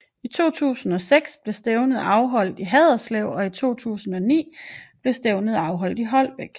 I 2006 blev stævnet afholdt i Haderslev og i 2009 blev stævnet afholdt i Holbæk